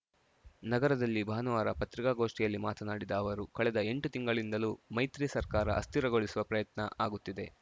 ನಗರದಲ್ಲಿ ಭಾನುವಾರ ಪತ್ರಿಕಾಗೋಷ್ಠಿಯಲ್ಲಿ ಮಾತನಾಡಿದ ಅವರು ಕಳೆದ ಎಂಟು ತಿಂಗಳಿಂದಲೂ ಮೈತ್ರಿ ಸರ್ಕಾರ ಅಸ್ಥಿರಗೊಳಿಸುವ ಪ್ರಯತ್ನ ಅಗುತ್ತಿದೆ